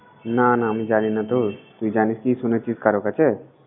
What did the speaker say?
না না আমি জানি না তোর, তুই জানিস কি শুনেছিস কারোর কাছে?